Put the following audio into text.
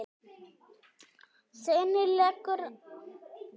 Seinni leikur